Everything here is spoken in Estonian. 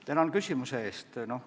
Tänan küsimuse eest!